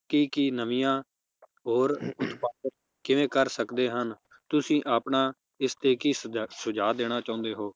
ਕੀ ਕੀ ਨਵੀਆਂ ਹੋਰ ਕਿਵੇਂ ਕਰ ਸਕਦੇ ਹਨ ਤੁਸੀਂ ਆਪਣਾ ਇਸ ਤੇ ਕੀ ਸੂਝ~ ਸੁਝਾਅ ਦੇਣਾ ਚਾਹੁੰਦੇ ਹੋ?